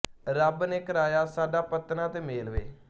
ਰੱਬ ਨੇ ਕਰਾਇਆ ਸਾਡਾ ਪੱਤਣਾਂ ਤੇ ਮੇਲ ਵੇ